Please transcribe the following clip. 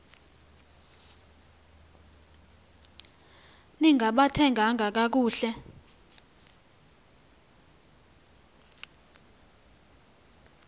ni ngaphathekanga kakuhle